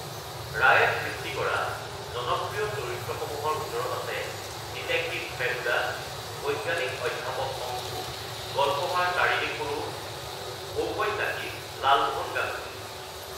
ৰায়ে সৃষ্টি কৰা জনপ্ৰিয় চৰিত্ৰসমূহৰ ভিতৰত আছে ডিটেকটিভ ফেলুদা, বৈজ্ঞানিক অধ্যাপক শংকো, গল্পকাৰ তাৰিণী খুৰো, ঔপন্যাসিক লালমোহন গাংগুলী।